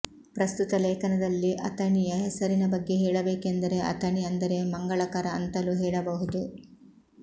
ಪ್ರಸ್ತುತ ಲೇಖನದಲ್ಲಿ ಅಥಣಿಯ ಹೆಸರಿನ ಬಗ್ಗೆ ಹೇಳಬೇಕೆಂದರೆ ಅಥಣಿ ಅಂದರೆ ಮಂಗಳಕರ ಅಂತಲೂ ಹೇಳಬಹುದು